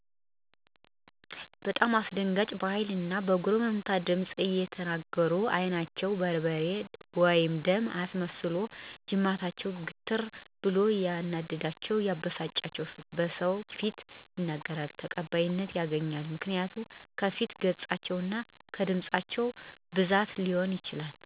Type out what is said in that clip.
በጣም አስደንጋጭ በሀይል እና በጉርምትምት ድምፅ እየተናገሩ አይናቸውን በርበሬ/ደም አስመስለውና ጅማታቸው ግትርትር ብሎ ያናደዳቸውን/የበሳጫቸውን በሰዎች ፊት ይናገራሉ። ተቀባይነትም ያገኛሉ ምክንያቱ ከፊት ገፃቸው እና ከድምፃቸው ብዙ አሰተማሪ ምልክቶች አሉ። ተቀባይነት የለላቸው መንገዶች ደግሞ አስተማሪ ከሆኑ ነገሮች ለምሳሌ አይናቸው ሳየቀላ ለሰለስ ባለ ድምፅ ቢናገሩ ብዙ ጊዜ ተቀባይነት የላቸውም። ምክንያቱም ሰው ሚረዳበት መንገድ በጣም ቀልብ በሚነሳ ንግግርና አሰደንጋጭ በሆኑ ነገሮች ሰለሆነ።